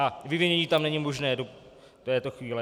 A vyvinění tam není možné do této chvíle.